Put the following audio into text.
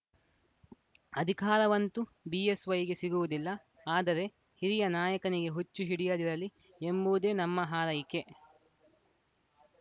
ಅಧಿಕಾರವಂತೂ ಬಿಎಸ್‌ವೈಗೆ ಸಿಗುವುದಿಲ್ಲ ಆದರೆ ಹಿರಿಯ ನಾಯಕನಿಗೆ ಹುಚ್ಚು ಹಿಡಿಯದಿರಲಿ ಎಂಬುದೇ ನಮ್ಮ ಹಾರೈಕೆ